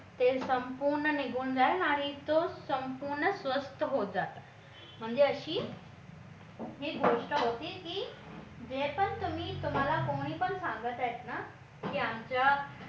ते संपूर्ण निघून जाईल आणि तो संपूर्ण स्वस्त होत जातो म्हणजे अशी ही गोष्ट होती की जे पण तुम्ही तुम्हाला कोणी पण सांगत आहेत ना की आमच्या